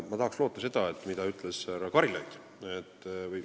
Nüüd sellest, mida ütles härra Karilaid.